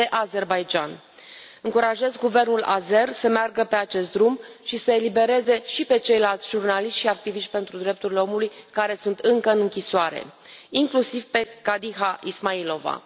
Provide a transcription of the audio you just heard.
Vorbim de Azerbaidjan. Încurajez guvernul azer să meargă pe acest drum și să îi elibereze și pe ceilalți jurnaliști și activiști pentru drepturile omului care sunt încă în închisoare, inclusiv pe Khadija Ismailova.